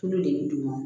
Tulu de bɛ d'u ma